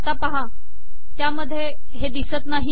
आणि आता पाहा त्यामध्ये हे दिसत नाही